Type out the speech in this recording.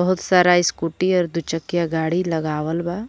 बहुत सारा स्कूटी और दू चकिया गाड़ी लगावल बा।